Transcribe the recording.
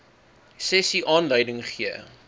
sessie aanleiding gegee